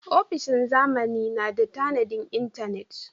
Ofishin zamani na da tanadin intanet.